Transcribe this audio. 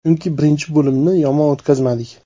Chunki birinchi bo‘limni yomon o‘tkazmadik.